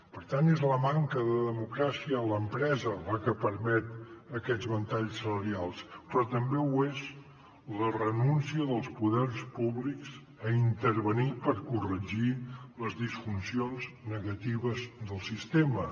per tant és la manca de democràcia a l’empresa la que permet aquests ventalls salarials però també ho és la renúncia dels poders públics a intervenir per corregir les disfuncions negatives del sistema